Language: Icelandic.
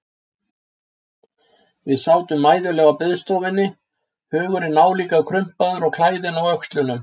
Við sátum mæðuleg á biðstofunni, hugurinn álíka krumpaður og klæðin á öxlunum.